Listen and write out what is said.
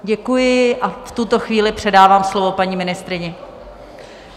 Děkuji a v tuto chvíli předávám slovo paní ministryni.